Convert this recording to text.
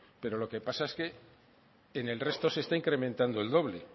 pero lo que pasa es que en el resto se está incrementando el doble